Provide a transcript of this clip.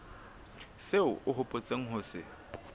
seo o hopotseng ho se